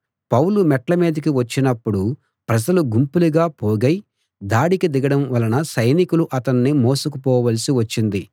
పౌలు మెట్ల మీదికి వచ్చినప్పుడు ప్రజలు గుంపులుగా పోగై దాడికి దిగడం వలన సైనికులు అతణ్ణి మోసుకుపోవలసి వచ్చింది